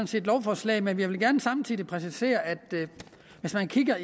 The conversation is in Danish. set lovforslaget men jeg vil gerne samtidig præcisere at hvis man kigger